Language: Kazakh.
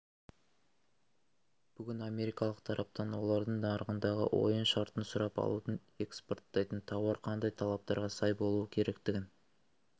бүгін америкалық тараптан олардың нарығындағы ойын шартын сұрап алудың экспорттайтын тауар қандай талаптарға сай болуы керектігін